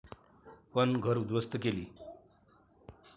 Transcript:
पण घरं उद्ध्वस्त केली.